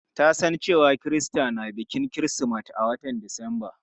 Ta san cewa Kirista na bikin kirismeti a watan disamba.